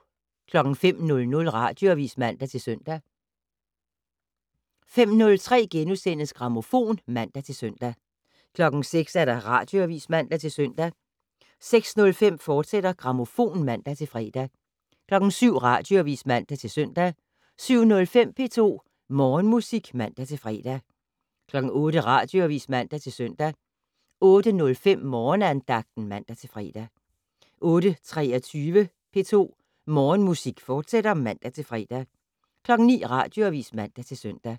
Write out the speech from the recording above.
05:00: Radioavis (man-søn) 05:03: Grammofon *(man-søn) 06:00: Radioavis (man-søn) 06:05: Grammofon, fortsat (man-fre) 07:00: Radioavis (man-søn) 07:05: P2 Morgenmusik (man-fre) 08:00: Radioavis (man-søn) 08:05: Morgenandagten (man-fre) 08:23: P2 Morgenmusik, fortsat (man-fre) 09:00: Radioavis (man-søn)